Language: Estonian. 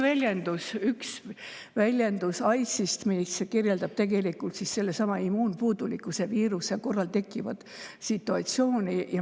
See on üks AIDS-i väljendus, mis kirjeldab sellesama immuunpuudulikkuse viiruse korral tekkivat situatsiooni.